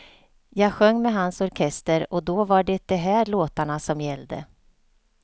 Jag sjöng med hans orkester och då var det de här låtarna som gällde.